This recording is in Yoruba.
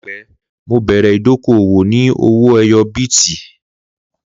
Laipẹ Mo bẹrẹ idoko-owo ni owó ẹyọ bíìtì.